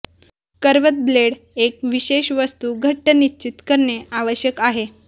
करवत blade एक विशेष वस्तू घट्ट निश्चित करणे आवश्यक आहे